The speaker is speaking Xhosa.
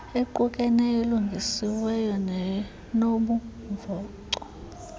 equkeneyo elungisiweyo nenobumvoco